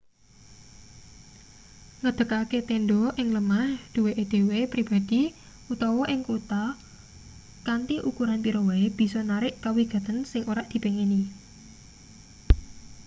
ngedekake tendha ing lemah duweke dhewe pribadi utawa ing kutha kanthi ukuran pira wae bisa narik kawigaten sing ora dipengini